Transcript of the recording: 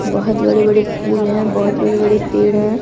बहुत बड़े बड़े फूल हैं बहुत बड़े बड़े पेड़ हैं।